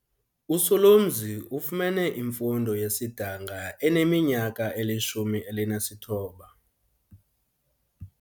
USolomzi ufumene imfundo yesidanga eneminyaka eli-19.